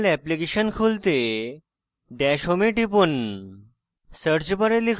jmol application খুলতে dash home এ টিপুন